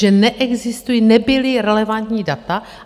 Že neexistují, nebyla relevantní data.